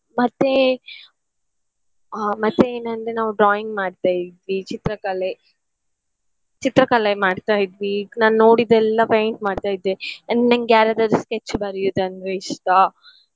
ಆ ಮತ್ತೆ ಆ ಮತ್ತೇನಂದ್ರೆ ನಾವು drawing ಮಾಡ್ತಾ ಇದ್ವಿ ಚಿತ್ರಕಲೆ ಚಿತ್ರಕಲೆ ಮಾಡ್ತಾ ಇದ್ವಿ ನಾನ್ ನೋಡಿದ್ದೆಲ್ಲ paint ಮಾಡ್ತಾ ಇದ್ದೆ. and ನನ್ಗೆ ಯಾರಾದಾದ್ರು sketch ಬರಿಯುದಂದ್ರೆ ಇಷ್ಟ.